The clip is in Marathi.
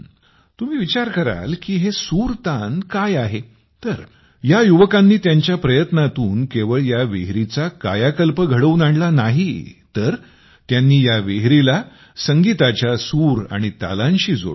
तुम्ही विचार कराल की हे सूरतान काय आहे तर या युवकांनी त्यांच्या प्रयत्नांतून केवळ या विहिरीचा कायाकल्प घडवून आणला नाही तर त्यांनी या विहिरीला संगीताच्या सूर आणि तालांशी जोडले